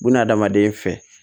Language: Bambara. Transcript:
Bununa hadamaden fɛ